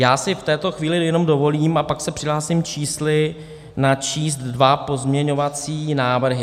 Já si v této chvíli jenom dovolím, a pak se přihlásím s čísly, načíst dva pozměňovací návrhy.